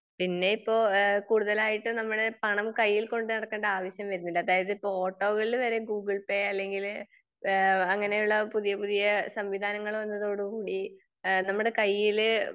പിന്നെ ഇപ്പൊ കൂടുതലായിട്ട് നമ്മുടെ പണം കൈയ്യിൽ കൊണ്ട് നടക്കണ്ട ആവശ്യം വരുന്നില്ല. അതായത് ഇപ്പൊ ഓട്ടോകളിൽ വരെ ഗൂഗിൾ പേ അല്ലെങ്കിൽ ഏഹ് അങ്ങിനെ ഉള്ള പുതിയ പുതിയ സംവിധാനങ്ങൾ വന്നതോടുകൂടി ഇഹ് നമ്മുടെ കയ്യില്